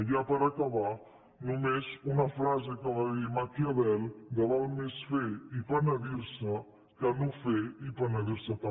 i ja per acabar només una frase que va dir maquiavel val més fer i penedir se que no fer i penedir se també